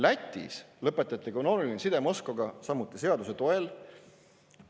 Lätis lõpetati kanooniline side Moskvaga samuti seaduse toel.